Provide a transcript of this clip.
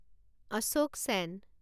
Ashok ছেন